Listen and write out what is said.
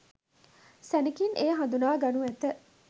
සැණෙකින් එය හදුනා ගනු ඇත.